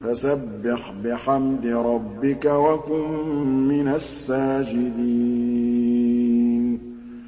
فَسَبِّحْ بِحَمْدِ رَبِّكَ وَكُن مِّنَ السَّاجِدِينَ